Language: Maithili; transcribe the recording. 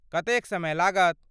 कतेक समय लागत?